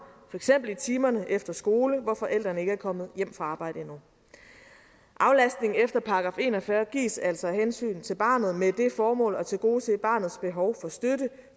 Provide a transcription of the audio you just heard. eksempel i timerne efter skole hvor forældrene ikke er kommet hjem fra arbejde endnu aflastningen efter § en og fyrre gives altså af hensyn til barnet med det formål at tilgodese barnets behov for støtte